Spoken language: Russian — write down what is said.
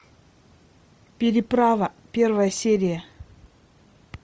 переправа первая серия